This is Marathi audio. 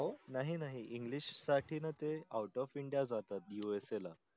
नाही नाही english साठी न ते out of india जातात USA ला